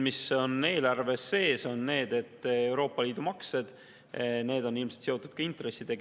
Eelarves on sees Euroopa Liidu maksed, need on ilmselt seotud ka intressidega.